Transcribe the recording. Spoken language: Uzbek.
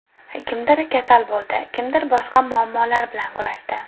Kimdir kasal bo‘ldi, kimdir boshqa muammolar bilan kurashdi.